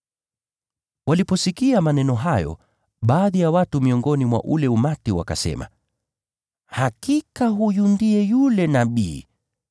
Waliposikia maneno hayo, baadhi ya watu miongoni mwa ule umati wakasema, “Hakika huyu ndiye yule Nabii.”